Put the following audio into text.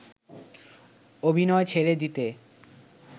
অভিনয় ছেড়ে দিতে